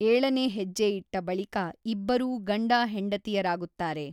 ಏಳನೇ ಹೆಜ್ಜೆ ಇಟ್ಟ ಬಳಿಕ ಇಬ್ಬರೂ ಗಂಡ–ಹೆಂಡತಿಯರಾಗುತ್ತಾರೆ.